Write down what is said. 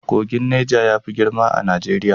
Kogin Neja yafi girma a Najeriya.